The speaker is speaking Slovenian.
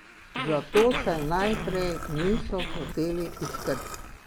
Zato se najprej niso hoteli izkrcati.